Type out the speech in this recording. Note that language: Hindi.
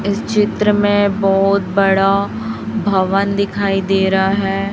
इस चित्र में बहोत बड़ा भवन दिखाई दे रा है।